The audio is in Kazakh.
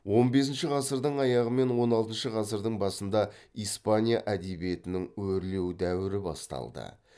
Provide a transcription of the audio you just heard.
он бесінші ғасырдың аяғы мен он алтыншы ғасырдың басында испания әдебиетінің өрлеу дәуірі басталды